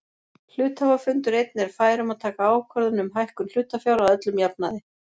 Hluthafafundur einn er fær um að taka ákvörðun um hækkun hlutafjár að öllum jafnaði.